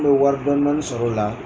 miniu wari dɔɔnin dnin sɔrɔ o la.